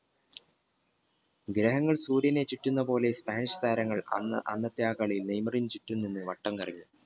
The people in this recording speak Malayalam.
ഗ്രഹങ്ങൾ കൂടി ചുറ്റുന്ന പോലെ സ്പാനിഷ് താരങ്ങൾ അന്ന് അന്നത്തെ ആ കളി നെയ്മറിന് ചുറ്റും നിന്ന് വട്ടം കറക്കി